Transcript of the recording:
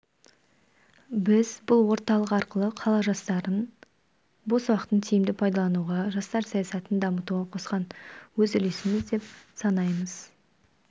біз бұл орталық арқылы қала жастарына бос уақытын тиімді пайдалануға жастар саясатын дамытуға қосқан өз үлесіміз деп санаймыз